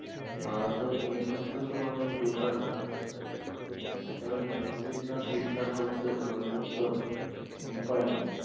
ভারতের main হচ্ছে তো মানে এই বেকার সমস্যাটাই এই টা যতো দিন না ঠিকঠাক হচ্ছে ততদিন তো কোন উপায় নেই।